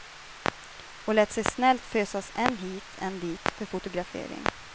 Och lät sig snällt fösas än hit, än dit för fotografering.